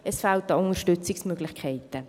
es fehlt an Unterstützungsmöglichkeiten.